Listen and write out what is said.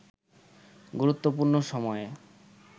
গুরুত্বপূর্ণ সময়ে